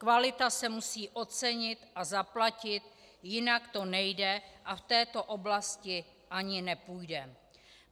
Kvalita se musí ocenit a zaplatit, jinak to nejde a v této oblasti ani nepůjde.